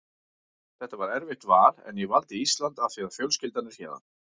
Þetta var erfitt val en ég valdi Ísland af því að fjölskyldan er héðan.